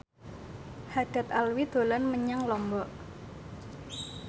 Haddad Alwi dolan menyang Lombok